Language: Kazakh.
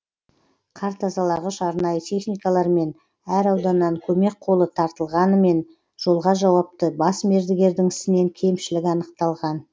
қар тазалағыш арнайы техникалар мен әр ауданнан көмек қолы тартылғанымен жолға жауапты бас мердігердің ісінен кемшілік анықталған